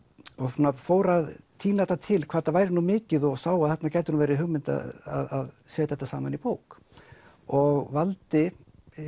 svona fór að tína þetta til hvað þetta væri nú mikið og sá að þarna gæti verið hugmynd að setja þetta saman í bók og valdi